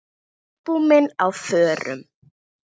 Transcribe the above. Albúmin á förum.